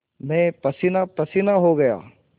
मैं पसीनापसीना हो गया